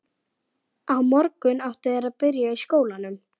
Gúgglið bara.